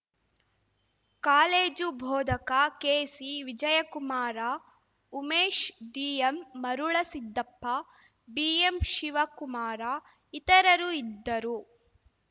college ಬೋಧಕ ಕೆಸಿವಿಜಯಕುಮಾರ ಉಮೇಶ್ ಡಿಎಂಮರುಳಸಿದ್ದಪ್ಪ ಬಿಎಂಶಿವಕುಮಾರ ಇತರರು ಇದ್ದರು